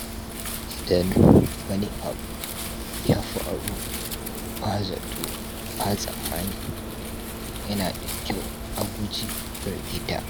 Idan wani abu ya faru ba zato ba tsammani, yana da kyau a guji firgita.